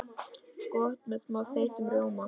Gott með smá þeyttum rjóma.